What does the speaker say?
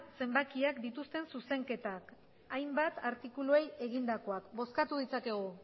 zenbakiak dituzten zuzenketak hainbat artikuluei egindakoak bozkatu ditzakegu